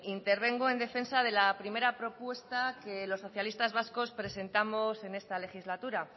intervengo en defensa de la primera propuesta que los socialistas vascos presentamos en esta legislatura